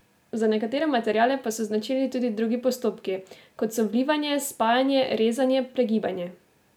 Za nekatere materiale pa so značilni tudi drugi postopki, kot so vlivanje, spajanje, rezanje, pregibanje ...